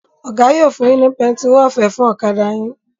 Oga yo fún yín ní pẹtiró ọ̀fẹ́ fún ọ̀kadà yìn.